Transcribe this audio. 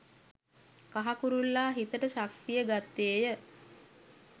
කහ කුරුල්ලා හිතට ශක්තිය ගත්තේය